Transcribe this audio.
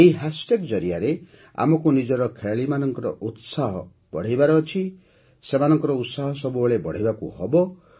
ଏହି ହ୍ୟାଶ୍ଟ୍ୟାଗ୍ ଜରିଆରେ ଆମକୁ ନିଜର ଖେଳାଳିମାନଙ୍କର ଉତ୍ସାହ ବଢ଼ାଇବାର ଅଛି ସେମାନଙ୍କର ଉତ୍ସାହ ସବୁବେଳେ ବଢ଼ାଇବାକୁ ହେବ